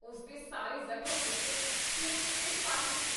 ਉਸ ਦੇ ਸਾਰੇ ਜ਼ਖ਼ਮ ਉੱਤੇ ਖ਼ੂਨ ਅਤੇ ਪਸ ਸੀ।